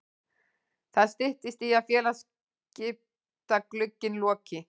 Það styttist í að félagaskiptaglugginn loki.